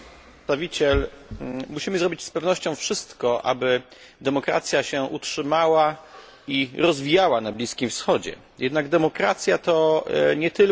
Musimy zrobić z pewnością wszystko, aby demokracja utrzymała i rozwijała się na Bliskim Wschodzie, jednak demokracja to nie tylko procedury wyborcze.